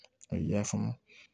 A y'a faamu